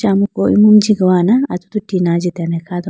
acha amuku imu jigowa na atudu tina ajitene kha do.